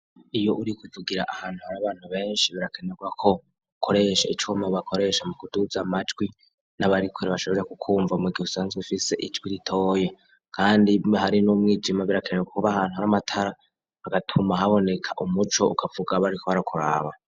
Iyo uriko uvugira ahantu hari abantu benshi, birakenerwa ko, ukoresha icuma bakoresha mukuduza amajwi, n'abarikure bashobore kukwumva mugihe usanzwe ufise ijwi ritoya, kandi iyo hari n'umwijima, birakenerwa kuba ahantu hari amatara, hagatuma haboneka umuco, ukavuga bariko barakuraba.